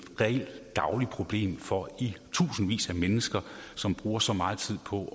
reelt dagligt problem for tusindvis af mennesker som bruger så meget tid på at